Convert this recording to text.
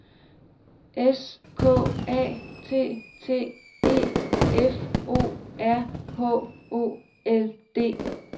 S K A T T E F O R H O L D